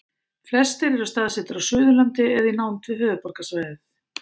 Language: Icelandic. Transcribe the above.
flestir eru staðsettir á suðurlandi eða í nánd við höfuðborgarsvæðið